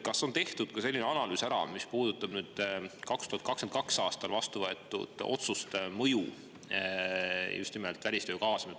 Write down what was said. Kas on tehtud ka selline analüüs, mis puudutab 2022. aastal vastu võetud otsuste mõju, just nimelt välistöö kaasamist?